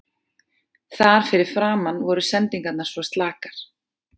Þar fyrir framan voru sendingarnar svo slakar.